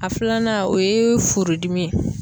A filanan o ye furudimi ye